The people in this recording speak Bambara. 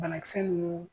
Banakisɛ ninnu